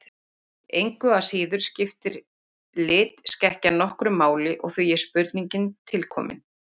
Engu að síður skiptir litskekkjan nokkru máli og því er spurningin til komin.